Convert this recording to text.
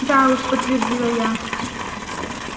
да уж подтвердила я